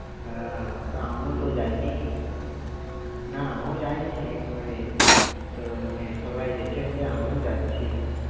আহ তা আমিও তো যাইনি। না আমি ও যাইনি কোনোদিন। তো মানে সবাই যেছে বলে আমি ও যাচ্ছি।